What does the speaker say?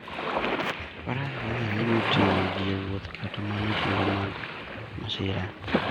Faras konyo ahinya e ting'o ji e wuoth kata mana e kinde mag masira.